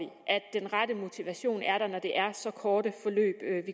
den rette motivation er der når det er så korte forløb